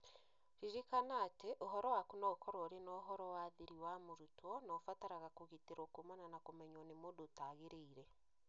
Ririkana atĩ, ũhoro waku no ũkorũo ũrĩ na ũhoro wa thiri wa mũrutwo na ũbataraga kũgitĩrũo kuumana na kũmenywo nĩ mũndũ ũtagĩrĩire